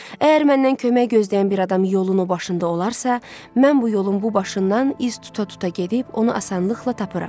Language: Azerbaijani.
Əgər məndən kömək gözləyən bir adam yolun o başında olarsa, mən bu yolun bu başından iz tuta-tuta gedib onu asanlıqla tapıram.